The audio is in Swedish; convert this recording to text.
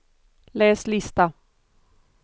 läs lista